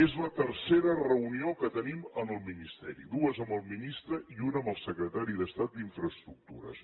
és la tercera reunió que tenim en el ministeri dues amb el ministre i una amb el secretari d’estat d’infraestructures